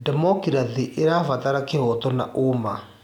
Ndemokirathĩ ĩrabatara kĩhooto na ũma.